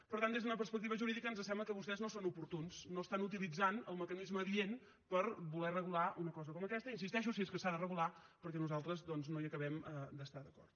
per tant des d’una perspectiva jurídica ens sembla que vostès no són oportuns no estan utilitzant el mecanisme adient per voler regular una cosa com aquesta hi insisteixo si és que s’ha de regular perquè nosaltres doncs no hi acabem d’estar d’acord